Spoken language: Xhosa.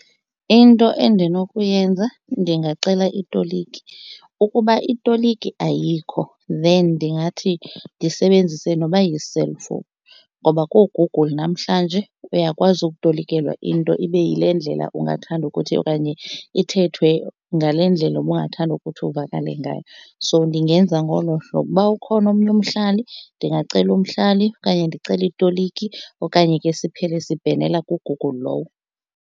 Into endinokuyenza ndingacela itoliki. Ukuba itoliki ayikho then ndingathi ndisebenzise noba yi-cellphone ngoba kooGoogle namhlanje uyakwazi ukutolikelwa into ibe yile ndlela ungathanda ukuthi okanye ithethwe ngale ndlela ubungathanda ukuthi ivakale ngayo, so ndingenza ngolo hlobo. Uba ukhona omnye umhlali ndingacela umhlali okanye ndicele itoliki okanye ke siphele sibhenela kuGoogle lowo.